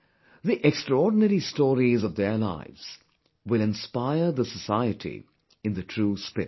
The extraordinary stories of their lives, will inspire the society in the true spirit